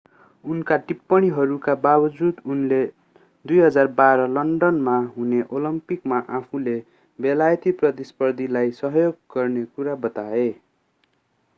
उनका टिप्पणीहरूका बाबजुद उनले 2012 लन्डनमा हुने ओलम्पिकमा आफूले बेलायती प्रतिस्पर्धीलाई सहयोग गर्ने कुरा बताए